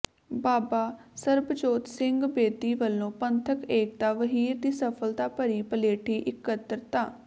ਬਾਬਾ ਸਰਬਜੋਤ ਸਿੰਘ ਬੇਦੀ ਵੱਲੋਂ ਪੰਥਕ ਏਕਤਾ ਵਹੀਰ ਦੀ ਸਫ਼ਲਤਾ ਭਰੀ ਪਲੇਠੀ ਇਕੱਤਰਤਾ